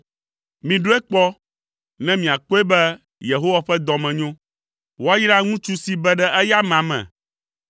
Miɖɔe kpɔ, ne miakpɔe be Yehowa ƒe dɔ me nyo; woayra ŋutsu si be ɖe eya amea me.